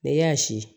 Ne y'a si